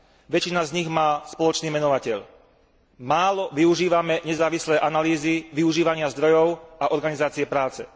Väčšina z nich má spoločný menovateľ málo využívame nezávislé analýzy využívania zdrojov a organizácie práce.